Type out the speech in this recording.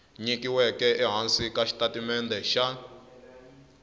nyikiweke ehansi ka xitatimende xa